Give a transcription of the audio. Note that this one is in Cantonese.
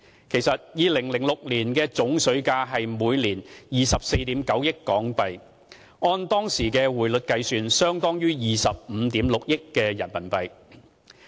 其實 ，2006 年的總水價是每年24億 9,000 萬港元。按當時匯率計算，相當於25億 6,000 萬元人民幣。